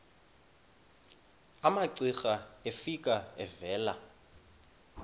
umamcira efika evela